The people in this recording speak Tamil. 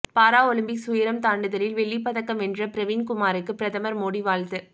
பாராலிம்பிக்ஸ் உயரம் தாண்டுதலில் வெள்ளிப்பதக்கம் வென்ற பிரவீன்குமாருக்கு பிரதமர் மோடி வாழ்த்து